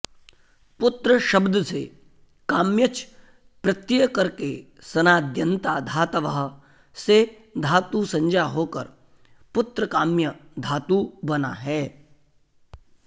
पुत्र शब्द से काम्यच् प्रत्यय करके सनाद्यन्ता धातवः से धातुसंज्ञा होकर पुत्रकाम्य धातु बना है